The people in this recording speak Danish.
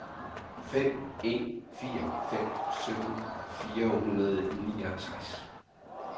fem en fire fem sytten fire hundrede og niogtres